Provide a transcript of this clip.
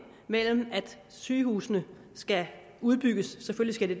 mellem at sygehusene skal udbygges selvfølgelig